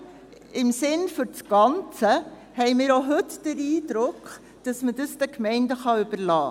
Aber im Sinne des Ganzen haben wir auch heute den Eindruck, man könne dies den Gemeinden überlassen.